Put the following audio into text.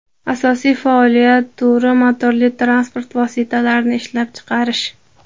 Asosiy faoliyat turi motorli transport vositalarini ishlab chiqarish.